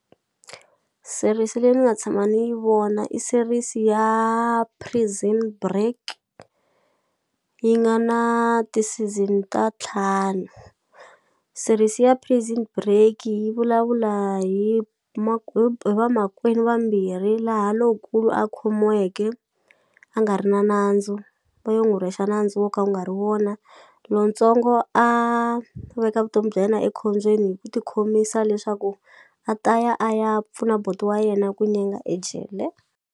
Series leyi ni nga tshama ni yi vona i series ya Prison Break yi nga na ti-season ta ntlhanu series ya Prison Break yi vulavula hi hi hi vamakwenu vambirhi laha lonkulu a khomuweke a nga ri na nandzu va yo n'wu rhwexa nandzu wo ka wu nga ri wona lontsongo a veka vutomi bya yena ekhombyeni hi ku ti khomisa leswaku a ta ya a ya pfuna buti wa yena ku ejele.